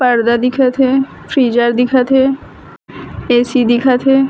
पर्दा दिखत हे फ्रीडजर दिखत हे ए_सी दिखत हे।